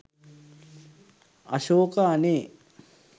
අශෝක අනේ